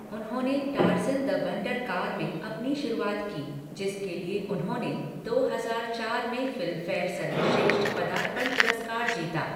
उन्होंने Tarzan the wonder car में अपनी शुरुआत की, जिसके लिए उन्होंने दो हजार चार में फिल्मफेयर सर्वश्रेष्ठ पदार्पण पुरस्कार जीता।